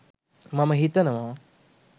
මම හිතනව